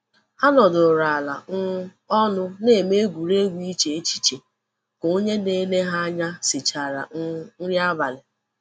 Ha nọdụrụ ala um ọnụ na-eme egwuregwu iche echiche ka onye na-ele ha anya sichara um nri abalị.